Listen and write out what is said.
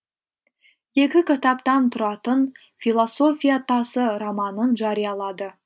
екі кітаптан тұратын философия тасы романын жариялады